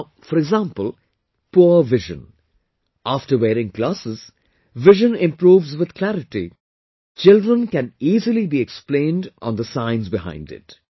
Now, for example poor vision... after wearing glasses, vision improves with clarity... children can easily be explained on the science behind it